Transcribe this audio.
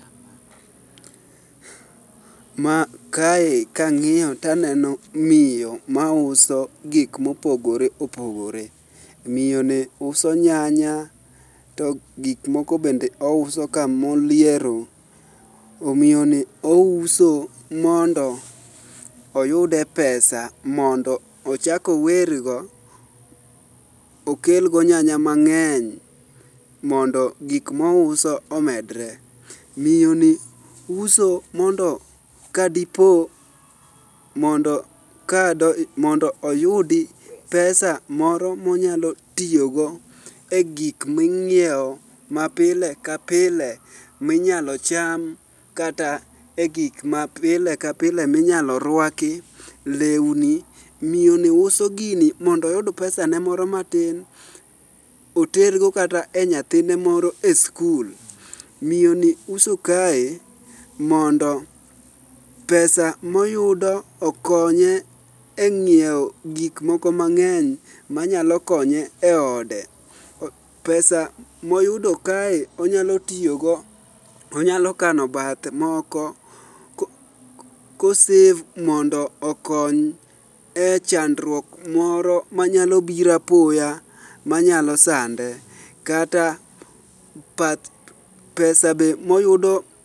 Kae kang'iyo taneno miyo mauso gik mopogore opogore. miyoni uso nyanya to gik moko bende ousoka moliero, miyoni ouso mondo oyude pesa mondo ochak owergo, okelgo nyanya mang'eny mondo gik mouso omedore. Miyoni uso mondo kadipo, mondo oyudi pesa moro monyalo tiyogo e gik ming'iewo mapile ka pile minyalo cham kata e gik ma pile ka pile minyalo rwaki, lewni. Miyoni uso gini mondo oyud pesan mondo matin, otergo kata e nyathine moro e skul. Miyoni uso kae mondo pesa moyudo okonye e ng'iewo gik moko mang'eny manyalo konye e ode. pesa moyudo kae onyalo tiyogo, onyalo kano bath moko, kosev mondo okony e chandruok moro manyalo biro apoya manyalo sande, kata pesa be moyudo.